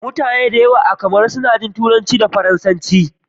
Mutane da yawa a Cameron suna jin Turanci da Faransanci.